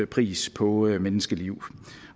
pris på et menneskeliv